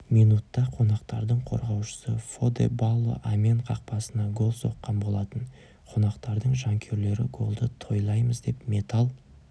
минутта қонақтардың қорғаушысы фоде балло амьен қақпасына гол соққан болатын қонақтардың жанкүйерлері голды тойлаймыз деп металл